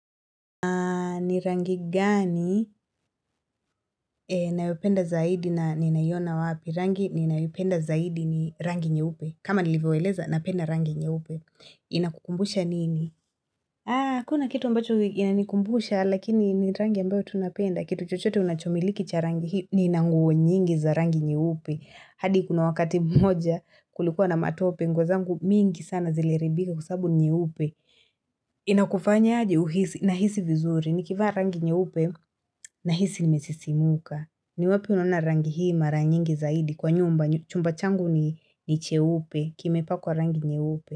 Ni rangi gani nayopenda zaidi na ninaiona wapi? Rangi ni nayoipenda zaidi ni rangi nyeupe. Kama nilivyowaeleza, napenda rangi nyeupe. Inakukumbusha nini? Huna kitu mbacho inanikumbusha, lakini ni rangi ambayo tu napenda. Kitu chochote unachomiliki cha rangi hii, niina nguo nyingi za rangi nyeupe. Hadi kuna wakati mmoja kulikuwa na matope, nguo zangu mingi sana zile haribika kwa sabubu ni nyeupe. Inakufanya aje uhisi? Nahisi vizuri. Nikivaa rangi nyeupe na hisi nimesisimuka ni wapi unona rangi hii mara nyingi zaidi kwa nyumba Chumba changu ni cheupe kimepakwa rangi nyeupe.